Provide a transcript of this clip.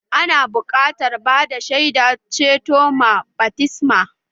Ana buƙatar bada shaidar ceto ma baftisma